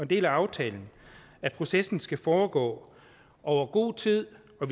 del af aftalen at processen skal foregå over god tid og